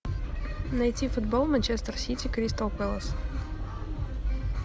найти футбол манчестер сити кристал пэлас